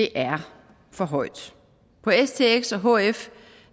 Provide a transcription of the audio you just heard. er for højt på stx og hf